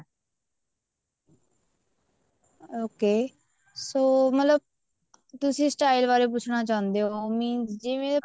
okay so ਮਤਲਬ ਤੁਸੀਂ style ਬਾਰੇ ਪੁੱਛਣਾ ਚਾਹੁੰਦੇ ਹੋ ਜਿਵੇਂ